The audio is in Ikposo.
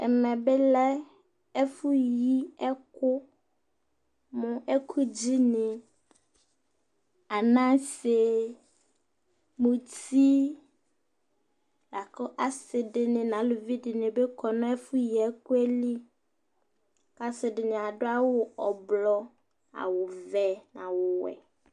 Ɛmɛbi lɛ ɛfuyi ɛku mu ɛkudzini : anassé, muti Laku assidini nu aluvidini bi kɔ nu ɛfuyi ɛku yɛ li Ku assidini ãdu awu ɔblɔ, awu wɛ, nu awu wɛ